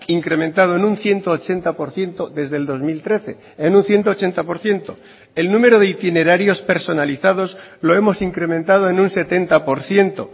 incrementado en un ciento ochenta por ciento desde el dos mil trece en un ciento ochenta por ciento el número de itinerarios personalizados lo hemos incrementado en un setenta por ciento